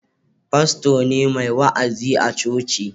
Fasto ne mai wa'azi a coci